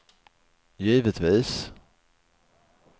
givetvis